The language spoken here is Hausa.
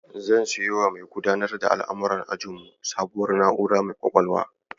Zan siyowa mai dudanar da al'amuran ajinmu sabuwar na'ura mai ƙwaƙwalwa.